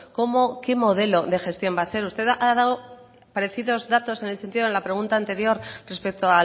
cómo qué modelo de gestión va a ser usted ha dado parecidos datos en el sentido de la pregunta anterior respecto